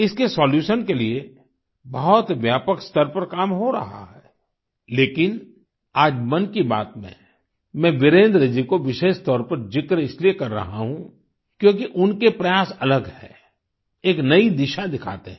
इसके सोल्यूशन के लिए बहुत व्यापक स्तर पर काम हो रहा है लेकिन आज मन की बात में मैं वीरेन्द्र जी को विशेष तौर पर जिक्र इसलिए कर रहा हूँ क्योंकि उनके प्रयास अलग हैं एक नई दिशा दिखाते हैं